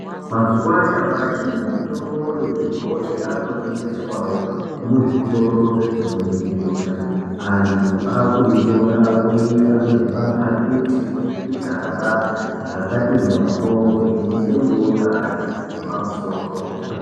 Mazuwa anyamashi mitombo yechibhoyi yakutengeswawo muzvitoro zvinoningirika antu akuitora oiisa muzvimapakiti nemuzvigaba zvakati moryo kuti itengwewo ngeantu epamusoro.